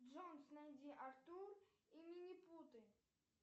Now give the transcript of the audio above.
джой найди артур и минипуты